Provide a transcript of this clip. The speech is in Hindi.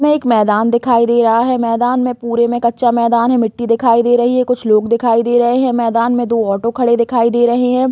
में एक मैदान दिखाई दे रहा है। मैदान में पुरे में कच्चा मैदान है। मिट्टी दिखाई दे रही है। कुछ लोग दिखाई दे रहे है। मैदान में दो ऑटो खड़े दिखाई दे रहे है।